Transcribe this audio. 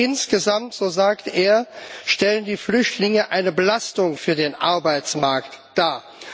Insgesamt, so sagte er, stellen die Flüchtlinge eine Belastung für den Arbeitsmarkt dar.